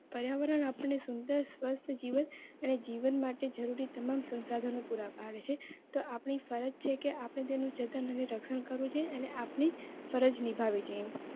પર્યાવરણ આપની સુંદર સ્વસ્થ જીવન અને જીવન માટે જરૂરી તમામ સંસાધનો પુરા તો આપણી ફરજ છે કે આપણે તેનું જતન અને રક્ષણ કરવું જોઈએ અને આપણી ફરજ નિભાવી જોઈએ